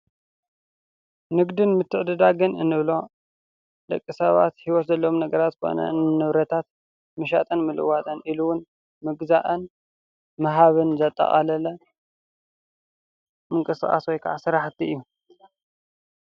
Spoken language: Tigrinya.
ንግድን ምትዕዲዳግን እንብሎ ንደቂ ሰባት ህይወት ዘሎዎሞ ነገራት ዝኮነ ንብረታት ምሻጥን ምልዋጥን ኢሉውን ምግዛእን ምሃብን ዝጣቀለለ ምንቅስቃስ ወይ ካዓ ስራሕቲ እዩ፡፡